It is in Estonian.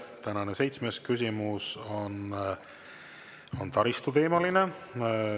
Tänane seitsmes küsimus on taristuteemaline.